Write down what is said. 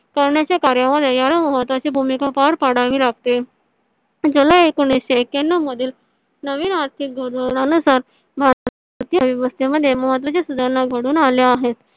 करण्याच्या कार्यामध्ये महत्वाची याला भूमिका पर पडावी लागते . ज्याला एकोणविसशे एकयानाव मध्ये नवीन आर्थिक धोरणा नुसार भारतातील वित्त व्यवस्थ मध्ये महत्वाची सुधारणा घडून आली आहे.